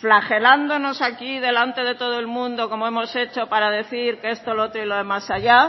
flagelándonos aquí delante de todo el mundo como hemos hecho para decir que esto lo otro y lo de más allá